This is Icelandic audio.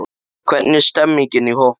Hvernig er stemmningin í hópnum?